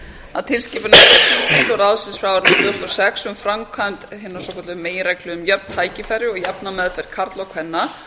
að tilskipun evrópuþingsins og ráðsins frá árinu tvö þúsund og sex um framkvæmd hinnar svokölluðu meginreglu um jöfn tækifæri og jafna meðferð karla og